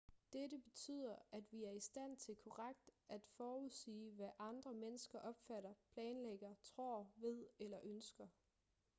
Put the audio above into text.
dette betyder at vi er i stand til korrekt at forudsige hvad andre mennesker opfatter planlægger tror ved eller ønsker